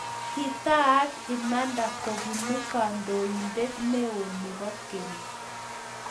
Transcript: Kitaak imanda kopuu kandoindet neoo nepo keny